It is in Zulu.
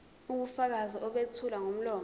ubufakazi obethulwa ngomlomo